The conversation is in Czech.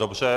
Dobře.